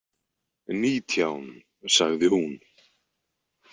Nítján, sagði hún.